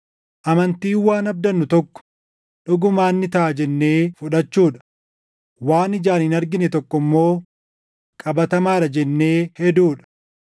Amantiin waan abdannu tokko dhugumaan ni taʼa jennee fudhachuu dha; waan ijaan hin argine tokko immoo qabatamaadha jennee heduu dha.